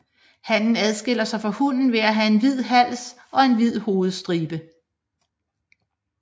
Hannen adskiller sig fra hunnen ved at have en hvid hals og en hvid hovedstribe